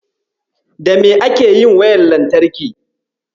Da me ake yin wayar lantarki?